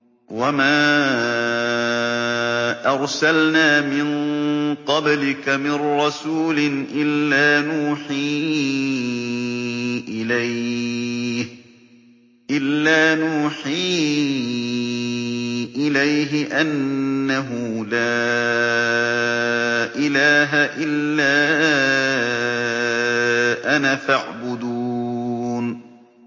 وَمَا أَرْسَلْنَا مِن قَبْلِكَ مِن رَّسُولٍ إِلَّا نُوحِي إِلَيْهِ أَنَّهُ لَا إِلَٰهَ إِلَّا أَنَا فَاعْبُدُونِ